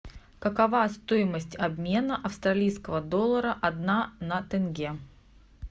какова стоимость обмена австралийского доллара одна на тенге